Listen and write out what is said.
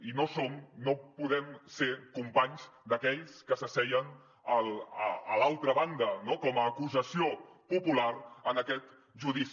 i no som no podem ser companys d’aquells que s’asseien a l’altra banda no com a acusació popular en aquest judici